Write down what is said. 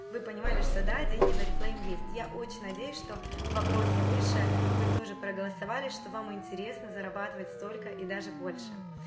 вы понимали что да деньги в орифлейме есть я очень надеюсь что в вопросе выше вы тоже проголосовали что вам интересно зарабатывать столько и даже больше